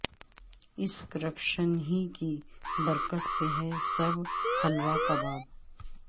اس corruption ہی کی برکت سے ہے سب حلوہ کباب